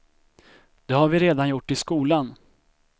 Det har vi redan gjort i skolan.